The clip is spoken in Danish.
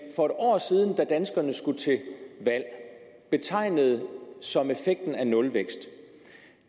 for et år siden da danskerne skulle til valg betegnede som effekten af nulvækst